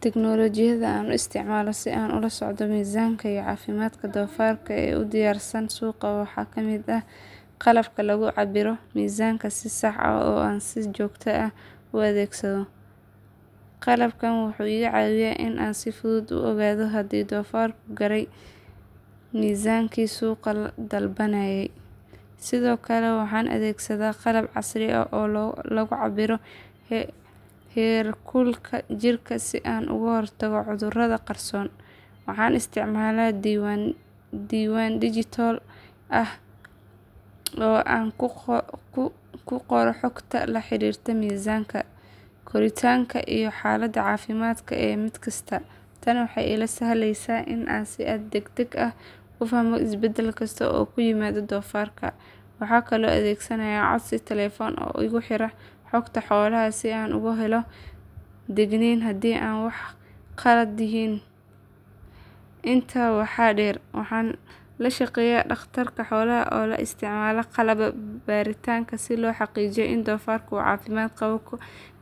Tignoolajiyada aan isticmaalo si aan ula socdo miisaanka iyo caafimaadka doofaarka ee u diyaarsanaanta suuqa waxaa ka mid ah qalabka lagu cabbiro miisaanka si sax ah oo aan si joogto ah u adeegsado. Qalabkan wuxuu iga caawiyaa in aan si fudud u oggaado haddii doofaarku gaaray miisaankii suuqu dalbanayay. Sidoo kale waxaan adeegsadaa qalab casri ah oo lagu cabbiro heerkulka jirka si aan uga hortago cudurrada qarsoon. Waxaan isticmaalaa diiwaan digital ah oo aan ku qoro xogta la xiriirta miisaanka, koritaanka iyo xaaladda caafimaad ee mid kasta. Tani waxay ii sahlaysaa in aan si degdeg ah u fahmo isbeddel kasta oo ku yimaada doofaarka. Waxaan kaloo adeegsanayaa codsi taleefan oo igu xira xogta xoolaha si aan uga helo digniin haddii wax ka khaldan yihiin. Intaa waxaa dheer waxaan la shaqeeyaa dhakhtar xoolaad oo isticmaala qalab baaritaan si loo xaqiijiyo in doofaarka uu caafimaad qabo